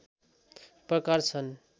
प्रकार छन्